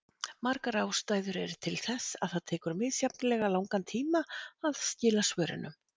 Margar ástæður eru til þess að það tekur misjafnlega langan tíma að skila svörunum.